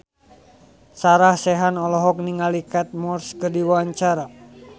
Sarah Sechan olohok ningali Kate Moss keur diwawancara